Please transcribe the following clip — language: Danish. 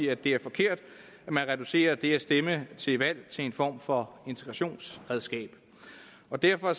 at det er forkert at man reducerer det at stemme til valg til en form for integrationsredskab og derfor